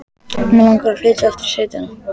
Mig langar að flytja aftur í sveitina.